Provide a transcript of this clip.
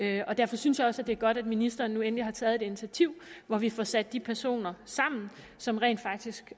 her derfor synes jeg også at det er godt at ministeren nu endelig har taget et initiativ hvor vi får sat de personer sammen som rent faktisk